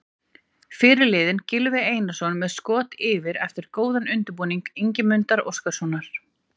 Fyrirliðinn Gylfi Einarsson með skot yfir eftir góðan undirbúning Ingimundar Óskarssonar.